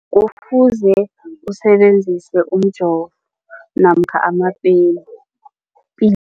Kufuze usebenzise umjovo namkha amapeni